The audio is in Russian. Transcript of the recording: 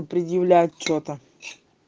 предъявлять что-то